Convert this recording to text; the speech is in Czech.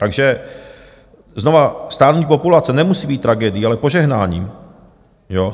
Takže znovu, stárnutí populace nemusí být tragédií, ale požehnáním.